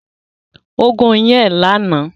Ó gún iyán ẹ̀ lánàá